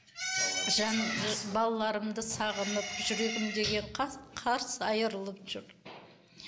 балаларымды сағынып жүрегім деген қарс қарс айрылып жүр